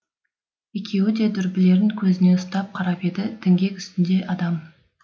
екеуі де дүрбілерін көзіне ұстап қарап еді діңгек үстінде адам